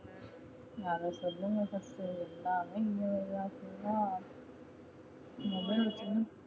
அத சொல்லுங்க first எல்லாமே EMI option யா